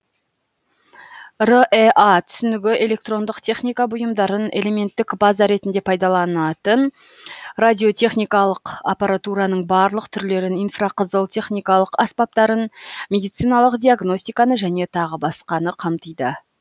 рэа түсінігі электрондық техника бұйымдарын элементтік база ретінде пайдаланатын радиотехникалық аппаратураның барлық түрлерін инфрақызыл техникалық аспаптарын медициналық диагностиканы және тағы басқаны қамтиды